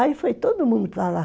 Aí foi todo mundo para lá.